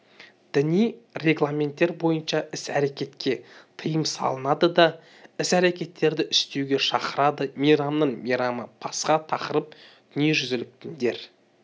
діни регламенттер бойынша іс-әрекетке тыйым салынады да іс-әрекеттерді істеуге шақырады мейрамның мейрамы пасха тақырып дүниежүзлік діндер